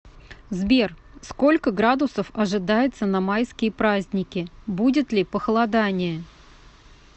сбер сколько градусов ожидается на майские праздники будет ли похолодание